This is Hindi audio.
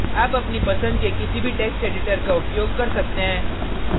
आप अपनी पसंद के किसी भी text editor का उपयोग कर सकते हैं